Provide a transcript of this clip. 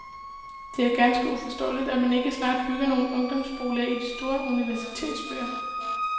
Det er ganske uforståeligt, at man ikke snart bygger nogle ungdomsboliger i de store universitetsbyer.